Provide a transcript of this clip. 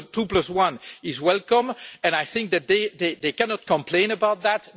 The two-plus-one is welcome, and they cannot complain about that